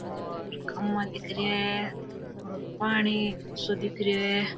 और खम्बा दिख रा है और पानी सो दिख रहो है।